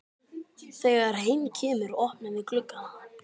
Þegar heim kemur opnum við gluggana.